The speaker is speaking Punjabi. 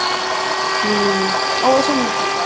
ਹਮ ਕੁਛ ਨੀ